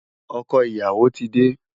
Ọkọ ìyàwó ti dé.